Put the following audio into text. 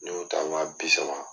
Ni y'o ta wa bi saba.